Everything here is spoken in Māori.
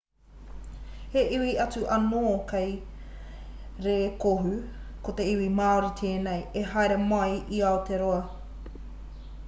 he iwi atu anō kei rēkohu ko te iwi māori tēnei i haere mai i aotearoa